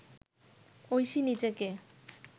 ঐশী নিজেকে